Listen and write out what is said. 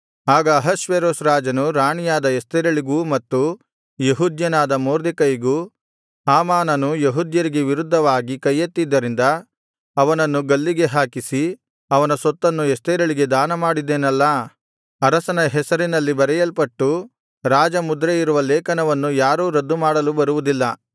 ಆಗ ಅಹಷ್ವೇರೋಷ್ ರಾಜನು ರಾಣಿಯಾದ ಎಸ್ತೇರಳಿಗೂ ಮತ್ತು ಯೆಹೂದ್ಯನಾದ ಮೊರ್ದೆಕೈಗೂ ಹಾಮಾನನು ಯೆಹೂದ್ಯರಿಗೆ ವಿರುದ್ಧವಾಗಿ ಕೈಯೆತ್ತಿದ್ದರಿಂದ ಅವನನ್ನು ಗಲ್ಲಿಗೆ ಹಾಕಿಸಿ ಅವನ ಸೊತ್ತನ್ನು ಎಸ್ತೇರಳಿಗೆ ದಾನಮಾಡಿದ್ದೇನಲ್ಲಾ ಅರಸನ ಹೆಸರಿನಲ್ಲಿ ಬರೆಯಲ್ಪಟ್ಟು ರಾಜಮುದ್ರೆಯಿರುವ ಲೇಖನವನ್ನು ಯಾರೂ ರದ್ದುಮಾಡಲು ಬರುವುದಿಲ್ಲ